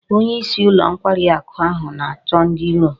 Onye isi ulo nkwari aku ahu na-acho ndi oru